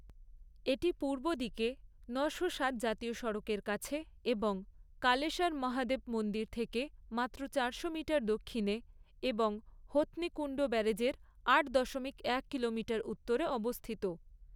এটি পূর্ব দিকে ন'শো সাত জাতীয় সড়কের কাছে এবং কালেসার মহাদেব মন্দির থেকে মাত্র চারশো মিটার দক্ষিণে এবং হথনি কুন্ড ব্যারাজের আট দশমিক এক কিলোমিটার উত্তরে অবস্থিত।